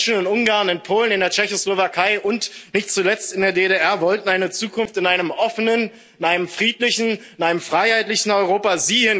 Die Menschen in Ungarn, in Polen, in der Tschechoslowakei und nicht zuletzt in der DDR wollten eine Zukunft in einem offenen, in einem friedlichen, in einem freiheitlichen Europa.